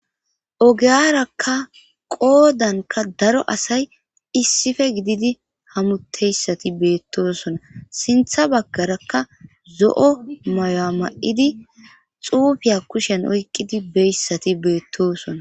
ogeyarakka qoodanka daro asay issife gididi hamutteyssati beettosona sintha baggarakka zo7o maya ma7idi xuufiya kushen oyqqidi beyssati beettosona